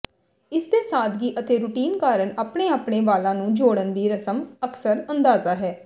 ਇਸਦੇ ਸਾਦਗੀ ਅਤੇ ਰੁਟੀਨ ਕਾਰਨ ਆਪਣੇ ਆਪਣੇ ਵਾਲਾਂ ਨੂੰ ਜੋੜਨ ਦੀ ਰਸਮ ਅਕਸਰ ਅੰਦਾਜ਼ਾ ਹੈ